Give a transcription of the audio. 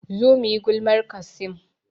Zo muyi gulmar Qassim